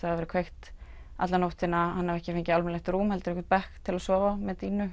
verið kveikt alla nóttina hann hafi ekki heldur fengið almennilegt rúm heldur einhvern bekk til að sofa